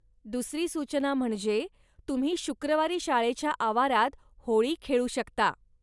दुसरी सूचना म्हणजे, तुम्ही शुक्रवारी शाळेच्या आवारात होळी खेळू शकता.